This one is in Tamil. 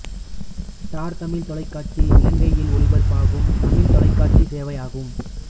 ஸ்டார் தமிழ் தொலைக்காட்சி இலங்கையில் ஒளிபரப்பாகும் தமிழ் தொலைக்காட்சிச் சேவையாகும்